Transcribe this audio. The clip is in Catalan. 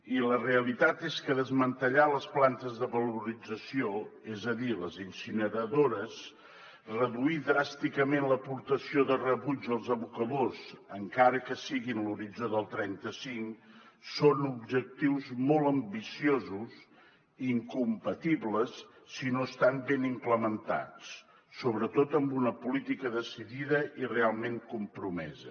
i la realitat és que desmantellar les plantes de valorització és a dir les incineradores reduir dràsticament l’aportació de rebuig als abocadors encara que sigui en l’horitzó del trenta cinc són objectius molt ambiciosos i incompatibles si no estan ben implementats sobretot amb una política decidida i realment compromesa